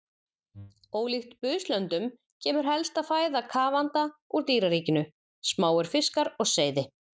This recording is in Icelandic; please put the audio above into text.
Ólíkt buslöndum kemur helsta fæða kafanda úr dýraríkinu, smáir fiskar og seiði.